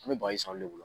An bɛ baz'aw de bolo